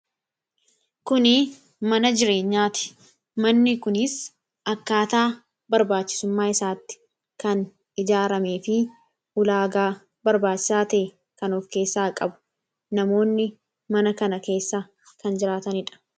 kuni mana jireenyaati. manni kuniis akkaataa barbaachisummaa isaatti kan ijaarame fi ulaagaa barbaachisaa tae kan of keessaa qabu namoonni mana kana keessaa kan jiraataniidha.